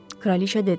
Kraliçə dedi.